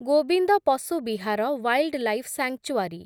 Gobinda Pashu Vihar wildlife sanctuary